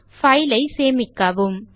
file ஐ சேமிக்கவும்